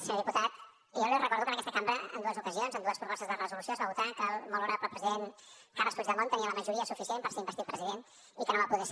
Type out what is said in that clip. senyor diputat jo li recordo que en aquesta cambra en dues ocasions en dues propostes de resolució es va votar que el molt honorable president carles puigdemont tenia la majoria suficient per ser investit president i que no va poder ser